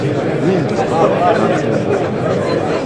rain disturb our planting work for middle